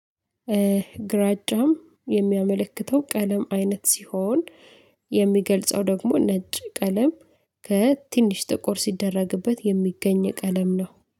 ግራጫም የሚያመለክተው ቀለም አይነት ሲሆን የሚገልጸው ደግሞ ነጭ ቀለም ከትንሽ ጥቁር ሲደረግበት የሚገኝ ቀለም ነው።